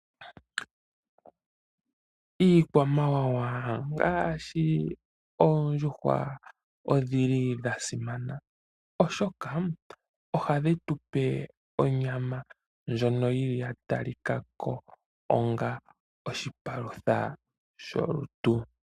Iikwamawawa ngaashi oondjuhwa odhili dha simana, oshoka ohadhi tupe onyama ndjono yili ya talikako onga oshipalutha sholutu.